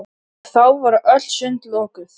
Og þá voru öll sund lokuð!